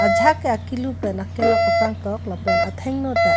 jahak ke akilu pen akilok kapangtok lapen athengno ta--